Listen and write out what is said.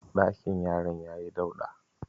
Ɗakin yaran yayi dauɗa.